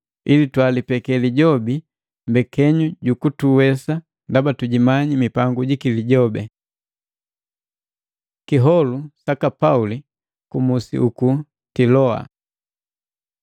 Ili twalipeke lijobi mbekenyu jukutuwesa, ndaba tujimanyi mipangu jaki ejibii. Kiholu saka Pauli ku musi uku Tiloa